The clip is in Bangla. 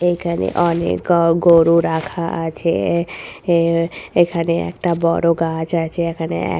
এখানে অনেক গ গরু রাখা আছে-এ এ এখানে একটা বড় গাছ আছে এখানে-এ ।